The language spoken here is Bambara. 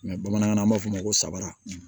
bamanankan na an b'a fɔ ma ko sabara